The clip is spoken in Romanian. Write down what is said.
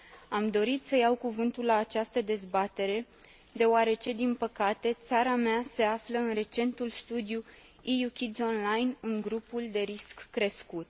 Am dorit să iau cuvântul la această dezbatere deoarece, din păcate, țara mea se află în recentul studiu EU Kids Online în grupul de risc crescut.